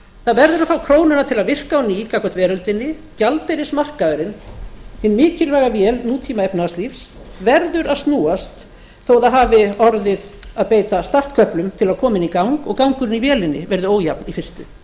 það verður að fá krónuna til að virka á ný gagnvart veröldinni gjaldeyrismarkaðurinn hin mikilvæga vél nútíma efnahagslífs verður að snúast þó að það hafi orðið að beita startköplum til að koma henni í gang og gangurinn í vélinni verði ójafn í fyrstu